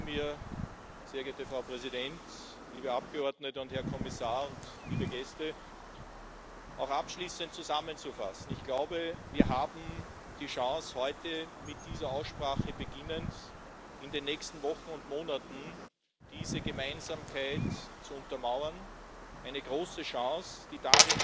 Das heißt ein normaler Haushalt. Wir wollen mit Parlament und Rat über die Ansätze sprechen, und ich gestehe zu, dass das, was der Rat vorschlägt, nicht wirklich Kürzungen sind, sondern Korrekturen von einem erhöhten Vorschlag der Kommission. Sorgen machen wir uns bei wenigen Programmen, was